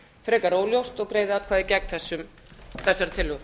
frekar óljóst og greiði atkvæði gegn þessari tillögu